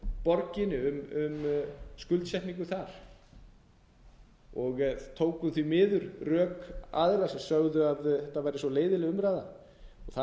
borginni um skuldsetningu þar og tókum því miður rök aðila sem sögðu að þetta væri svo leiðinleg umræða þar